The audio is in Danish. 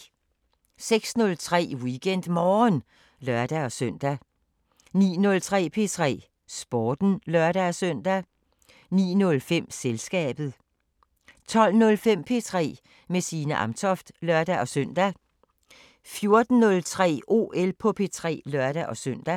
06:03: WeekendMorgen (lør-søn) 09:03: P3 Sporten (lør-søn) 09:05: Selskabet 12:05: P3 med Signe Amtoft (lør-søn) 14:03: OL på P3 (lør-søn)